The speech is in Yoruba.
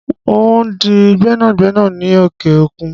N óò di gbẹ́nàgbẹ́nà ní òkè òkun